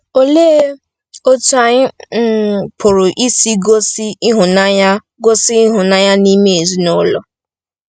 Olee otú anyị um pụrụ isi gosi ịhụnanya gosi ịhụnanya n’ime ezinụlọ?